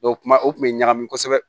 kuma o kun bɛ ɲagami kosɛbɛ